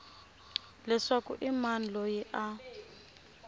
leswaku i mani loyi a